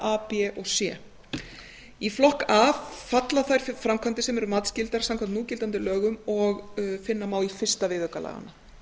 a b og c í flokk a falla þær framkvæmdir sem eru matsskyldar samkvæmt núgildandi lögum og finna má í fyrsta viðauka laganna